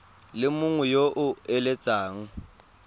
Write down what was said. le mongwe yo o eletsang